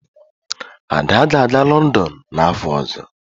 Ada ga-aga Lọndọn n'afọ ọzọ